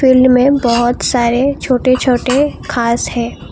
इसमें बहोत सारे छोटे छोटे घास है।